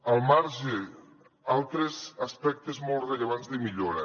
al marge altres aspectes molt rellevants de millora